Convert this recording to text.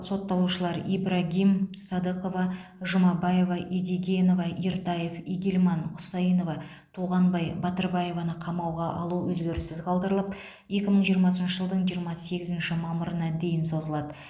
сотталушылар ибрагим садықова жұмабаева едигенева ертаев игильман кұсаинова туғанбай батырбаеваны қамауға алу өзгеріссіз қалдырылып екі мың жиырмасыншы жылдың жиырма сегізінші мамырына дейін созылады